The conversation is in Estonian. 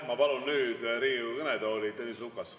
Ma palun nüüd Riigikogu kõnetooli Tõnis Lukase.